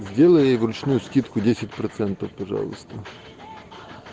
сделай ей вручную скидку десять процентов пожалуйста